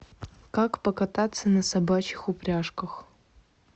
как покататься на собачьих упряжках